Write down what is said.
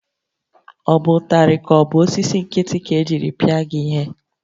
Ọ bụ ụtarị ka ọ bụ osisi nkịtị ka-ejiri pịa gị ihe?